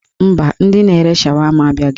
Mba, ndị na-ere shawama abịaghị.